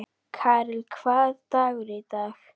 Karel, hvaða dagur er í dag?